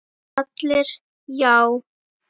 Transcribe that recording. ALLIR: Já!